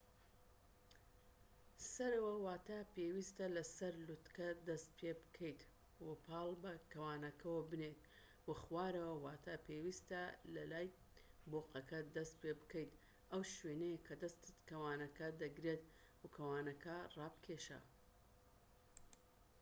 سەرەوە واتا پێویستە لە سەر لووتکە دەست پێبکەیت و پاڵ بە کەوانەکەوە بنێت، و خوارەوە واتا پێویستە لە لای بۆقەکە دەست پێبکەیت ئەو شوێنەیە کە دەستت کەوانەکە دەگرێت و کەوانەکە ڕابکێشە